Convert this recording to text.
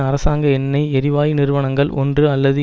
அரசாங்க எண்ணெய் எரிவாயு நிறுவனங்கள் ஒன்று அல்லது